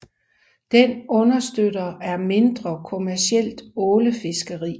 Den understøtter er mindre kommercielt ålefiskeri